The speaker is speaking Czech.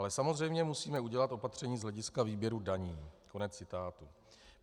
Ale samozřejmě musíme udělat opatření z hlediska výběru daní."